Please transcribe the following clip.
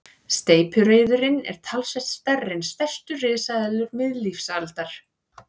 Steypireyðurin er talsvert stærri en stærstu risaeðlur miðlífsaldar.